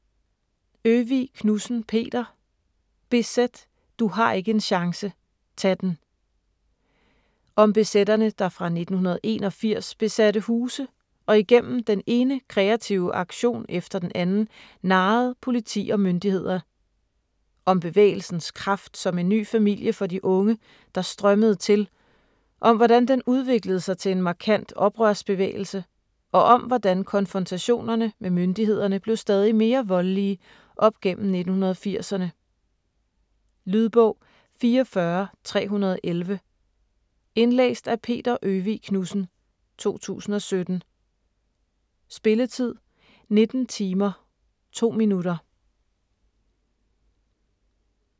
Øvig Knudsen, Peter: BZ: du har ikke en chance - tag den! Om BZ'erne der fra 1981 besatte huse og igennem den ene kreative aktion efter den anden narrede politi og myndigheder. Om bevægelsens kraft som en ny familie for de unge, der strømmede til, om hvordan den udviklede sig til en markant oprørsbevægelse, og om hvordan konfrontationerne med myndighederne blev stadig mere voldelige op igennem 1980'erne. Lydbog 44311 Indlæst af Peter Øvig Knudsen, 2017. Spilletid: 19 timer, 2 minutter.